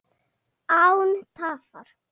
Án tafar!